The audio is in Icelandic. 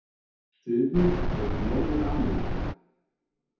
Suður- og Norður-Ameríka